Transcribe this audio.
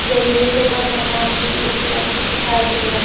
जरूरतों सामान भी उपलब्ध दिखाई दे रहा--